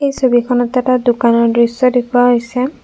এই ছবিখনত এটা দোকানৰ দৃশ্য দেখুওৱা হৈছে।